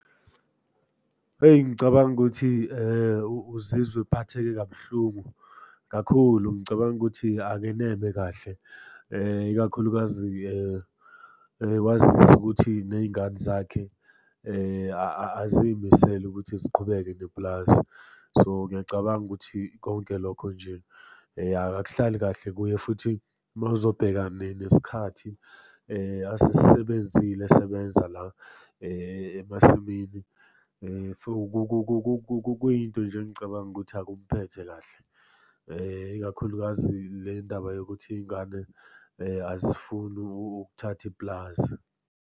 Eyi ngicabanga ukuthi uzizwa ephatheke kabuhlungu kakhulu. Ngicabanga ukuthi akeneme kahle ikakhulukazi kwazise ukuthi ney'ngane zakhe azimisele ukuthi ziqhubeke nepulazi. So ngiyacabanga ukuthi konke lokho nje akuhlali kahle kuye futhi uma uzobheka nesikhathi asisebenzile esebenza la emasimini. So, kuyinto nje engicabanga ukuthi akumuphethe kahle, ikakhulukazi le ndaba yokuthi iy'ngane azifuni ukuthatha ipulazi.